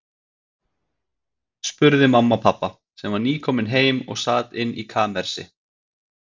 spurði mamma pabba, sem var nýkominn heim og sat inni í kamersi.